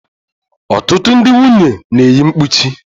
Ọtụtụ ndị nwunye na-eyi mkpuchi.